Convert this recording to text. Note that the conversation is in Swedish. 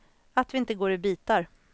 Att vi inte går i bitar.